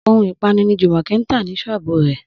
Ohun ìpanu ni Jùmọ̀kẹ́ ń tà ní ṣọ́ọ̀bù rẹ̀